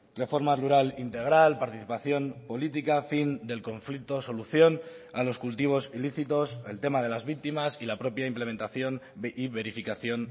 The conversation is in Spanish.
reforma rural integral participación política fin del conflicto solución a los cultivos ilícitos el tema de las víctimas y la propia implementación y verificación